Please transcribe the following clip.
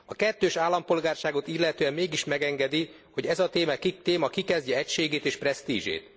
A kettős állampolgárságot illetően mégis megengedi, hogy ez a téma kikezdje egységét és presztízsét.